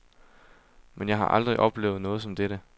Men jeg har aldrig oplevet noget som dette.